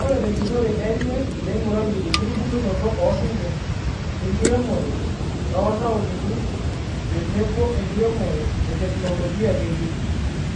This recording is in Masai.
Ore tenjurore enye neingurayie enkitubulunoto osinkir, enkiremore to ntaonini tenebo enkiremore eteknologia ng'ejuk.